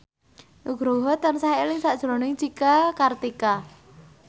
Nugroho tansah eling sakjroning Cika Kartika